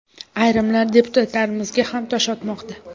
Ayrimlar deputatlarimizga ham tosh otmoqda.